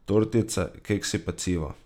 Tortice, keksi, peciva ...